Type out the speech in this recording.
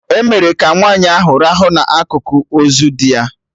E mere ka nwaanyị ahụ rahụ na akụkụ ozu di ya